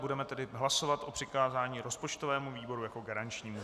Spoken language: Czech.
Budeme tedy hlasovat o přikázání rozpočtovému výboru jako garančnímu.